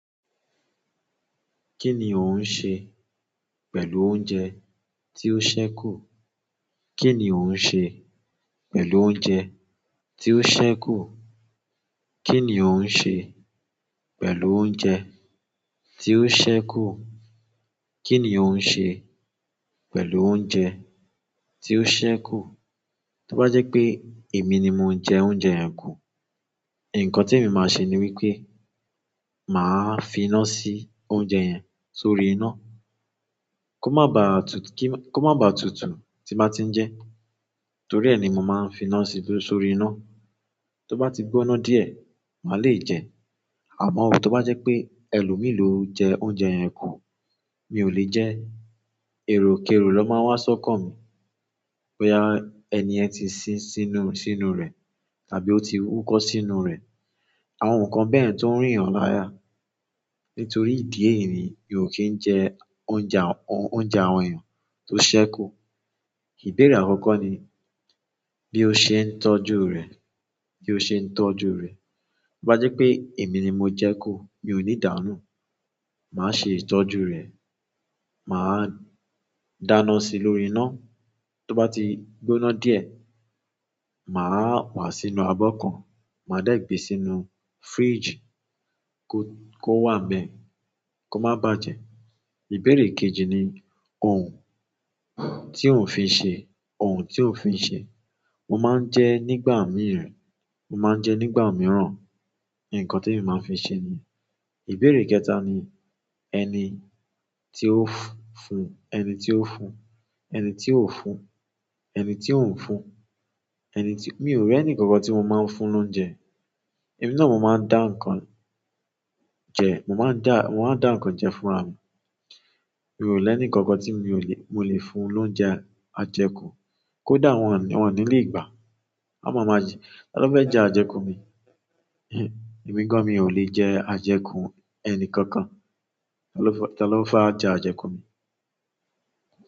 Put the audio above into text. Kí ni ò ń ṣe pẹ̀lú oúnjẹ tí ó ṣẹ́kù? Kí ni ò ń ṣe pẹ̀lú oúnjẹ tí ó ṣẹ́kù? Kí ni ò ń ṣe pẹ̀lú oúnjẹ tí ó ṣẹ́kù? Kí ni ò ń ṣe pẹ̀lú oúnjẹ tí ó ṣẹ́kù? To ba je pe emi ni mo je oúnjẹ yen ku nkan ti emi ni ma se ni wípé ma fi ina si oúnjẹ yen sórí ina ko ma ba tutu ti ba tin je torie ni mo ma fi ina si sórí ina. Tí ó bá ti gbóná díẹ̀, màá le jẹ. Àmọ́ tó bá jẹ́ pé ẹlòmíì lo jẹ oúnjẹ yẹn kù, mi ò lè jẹ. Èròkerò ló máa wá sọ́kan mi boya ẹni ẹ̀ ti sin sínú- sínú rẹ̀ tàbí ó ti wúkọ́ sínú rẹ̀. Àwọn nǹkan bẹ́ẹ̀ tó ń rìn lára. Nítorí ìdí èyìní, mi ò kì í jẹ oúnjẹ àwọn- oúnjẹ àwọn èèyàn tó ṣẹ́kù. Ìbéèrè àkọ́kọ́ ni bí ó ṣe ń tọ́jú rẹ̀, bí ó ṣe ń tọ́jú rẹ̀. To bá jẹ́ pé èmi ni mo jẹ kú, mi ò ní dànù. Màá ṣe ìtọ́jú rẹ̀. Màá dáná sí lórí iná. Tí ó bá ti gbóná díẹ̀, màá wàá sínú abọ́ kan, màá dẹ́ gbé e sínú fridge kó wà n bẹ̀ kó má bà jẹ. Ìbéèrè kejì ni òun tí ò ń fi ṣe, òun tí ò ń fi ṣe. Mo máa ń jẹ nígbà mìíràn. Mo máa ń jẹ nígbà mìíràn. Nkan ti emi maa n fi se niyen. Ìbéèrè kẹta ni ẹni tí ó fún, ẹni tí ó fún, ẹni tí ò ń fún, ẹni tí ò ń fún, ẹni tí-- mi ò rí ẹnìkankan tí mo máa ń fún lóúnjẹ. Èmi náà mo máa ń dá nǹkan jẹ, mo máa ń dá, mo máa ń dá nǹkan jẹ fúnra mi. Mi ò lè ní ẹnìkankan tí mi ò lè, mo lè fún lóúnjẹ ajẹkù. Kódà wọ́n ò ní, wọ́n ò ní lè gbà á. Olohun máa máa jẹ-- talo fẹ́ jẹ ajẹkù mi? Emi gan mi ole je ajeku ẹni kankan talo fẹ́, talo fẹ́ a jẹ ajẹkù mi?